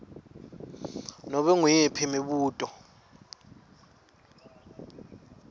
nobe nguyiphi imibuto